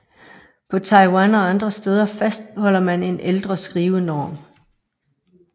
På Taiwan og andre steder fastholder man en ældre skrivenorm